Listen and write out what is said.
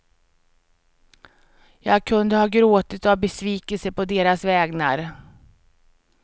Jag kunde ha gråtit av besvikelse på deras vägnar.